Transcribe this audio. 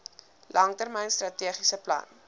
langtermyn strategiese plan